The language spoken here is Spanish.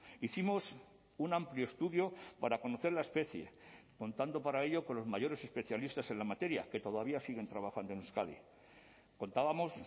hicimos un amplio estudio para conocer la especie contando para ello con los mayores especialistas en la materia que todavía siguen trabajando en euskadi contábamos